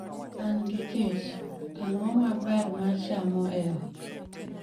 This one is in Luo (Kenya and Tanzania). An gi kech, ang'o ma ber ma chamo e ot?